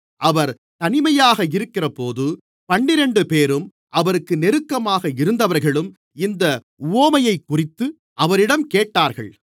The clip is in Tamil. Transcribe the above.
அவர் தனிமையாக இருக்கிறபோது பன்னிரண்டுபேரும் அவருக்கு நெருக்கமாக இருந்தவர்களும் இந்த உவமையைக்குறித்து அவரிடம் கேட்டார்கள்